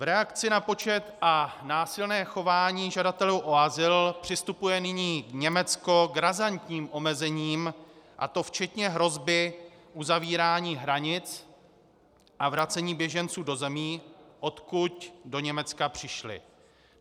V reakci na počet a násilné chování žadatelů o azyl přistupuje nyní Německo k razantním omezením, a to včetně hrozby uzavírání hranic a vracení běženců do zemí, odkud do Německa přišli.